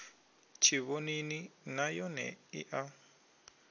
tshivhonini nay one i a